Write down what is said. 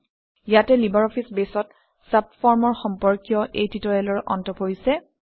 ইয়াতে লিবাৰঅফিছ বেছত চাবফৰ্মৰ সম্পৰ্কীয় এই টিউটৰিয়েলৰ অন্ত পৰিছে